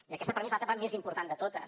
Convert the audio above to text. i aquesta per mi és l’etapa més important de totes